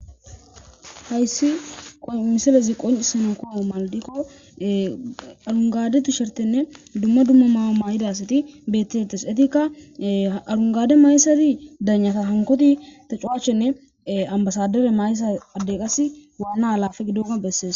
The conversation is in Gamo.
hayssi qo miselezi qoncisanunkoo maldikko arungadetu shertenne dumma dumma maama yidasati betti tesetikka arungade maysati danyata hankoti tacuachshenne ambasadere mayssa adde qas waanna alafe gidoma bessees